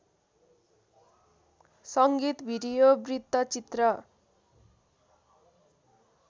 संगीत भिडियो वृत्तचित्र